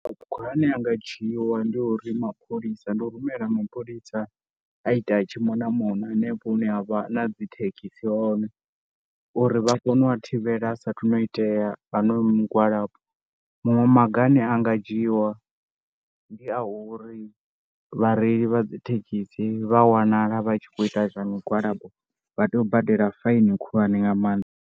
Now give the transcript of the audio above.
Maga ane a nga dzhiwa ndi uri mapholisa, ndi u rumela mapholisa a ita a tshi mona mona hanefho hune ha vha na dzi thekhisi hone uri vha kone u a thivhela saathu no u itea honoyu migwalabo. Maṅwe maga ane a nga dzhiiwa ndi a uri vhareili vha dzi thekhisi vha wanala vha tshi khou ita zwa migwalabo vha tea u badela fainiwe khulwane nga maanḓa.